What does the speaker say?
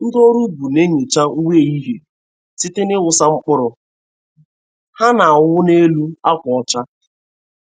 Ndị ọrụ ubi na-enyocha nweyeghi site n'ịwụsa mkpụrụ ha n'anwụ n'elu akwa ọcha.